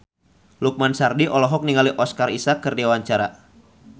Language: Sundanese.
Lukman Sardi olohok ningali Oscar Isaac keur diwawancara